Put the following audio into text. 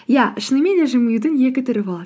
иә шынымен де жымиюдың екі түрі болады